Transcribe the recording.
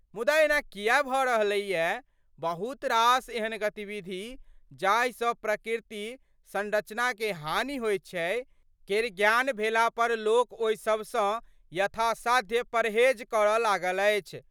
मुदा एना किया भड रहलैवा? बहुत रास एहन गतिविधि जाहिसं प्रकृतिक संरचनाकें हानि होइत छै केर ज्ञान भेलापर लोक ओहिसभसं वथासाध्य परहेज करऽ लागल अछि।